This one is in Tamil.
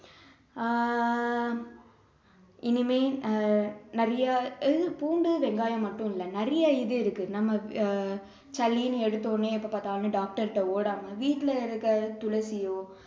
ஆஹ் இனிமே அஹ் நிறைய பூண்டு வெங்காயம் மட்டும் இல்ல நிறைய இது இருக்கு நம்ம சளின்னு எடுத்த உடனே எப்போ பார்த்தாலும் doctor ட ஓடாம வீட்டுல இருக்கிற துளசியோ